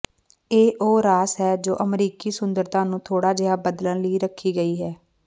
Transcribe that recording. ਇਹ ਉਹ ਰਾਸ ਹੈ ਜੋ ਅਮਰੀਕੀ ਸੁੰਦਰਤਾ ਨੂੰ ਥੋੜ੍ਹਾ ਜਿਹਾ ਬਦਲਣ ਲਈ ਰੱਖੀ ਗਈ ਹੈ